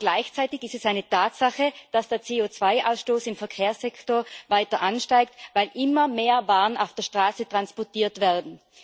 Aber gleichzeitig ist es eine Tatsache, dass der CO2 Ausstoß im Verkehrssektor weiter ansteigt, weil immer mehr Waren auf der Straße transportiert werden.